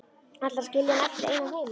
Ætlarðu að skilja hann eftir einan heima?